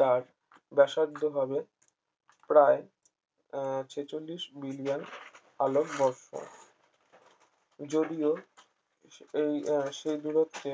তার ব্যাসার্ধ হবে প্রায় আহ ছেচল্লিশ মিলিয়ন আলোকবর্ষ যদিও এই আহ সেই দূরত্বে